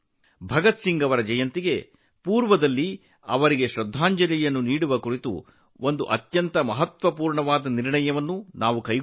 ಭಗತ್ ಸಿಂಗ್ ಅವರ ಜನ್ಮದಿನದ ಮುನ್ನವೇ ಅವರಿಗೆ ಗೌರವ ಸಲ್ಲಿಸಲು ಮಹತ್ವದ ನಿರ್ಧಾರವನ್ನು ತೆಗೆದುಕೊಳ್ಳಲಾಗಿದೆ